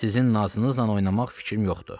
Sizin nazınızla oynamaq fikrim yoxdur.